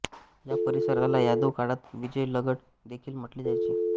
या परिसराला यादव काळात विज्जलगड देखील म्हटले जायचे